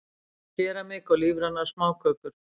Keramik og lífrænar smákökur